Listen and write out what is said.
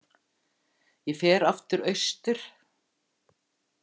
Ég fer aftur austur.